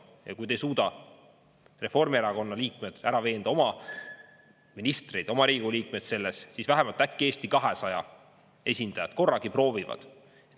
Ja kui te ei suuda Reformierakonna liikmeid ära veenda, oma ministreid, oma Riigikogu liikmeid selles, siis vähemalt äkki Eesti 200 esindajad korragi proovivad.